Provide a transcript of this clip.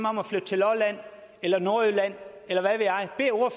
om at flytte til lolland eller nordjylland eller